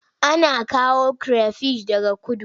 Ana kawo kire fish daga kudu.